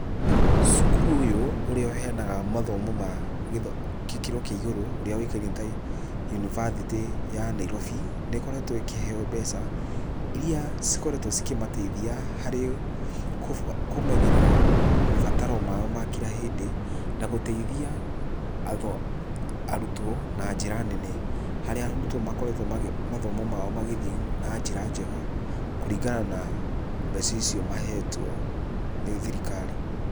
Cukuru ũyũ ũrĩa ũheanaga mathomo ma kĩkĩro kĩa igũrũ, ũrĩa ũĩkaine ta yunibathĩtĩ ya Nairobi, nĩĩkoretwo ĩkĩheo mbeca iria cikoretwo cikĩmateithia harĩ kũmenyerera mabataro mao ma kira hĩndĩ, na gũteithia arutwo na njĩra nene. Harĩa arutwo makoretwo mathomo mao magĩthiĩ na njĩra njega kũringana na mbeca icio mahetwo nĩ thirikari.